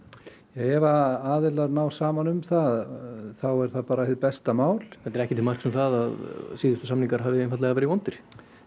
ef að aðilar ná saman um það þá er það bara hið besta mál þetta er ekki til marks um að síðustu samningar hafi einfaldlega verið vondir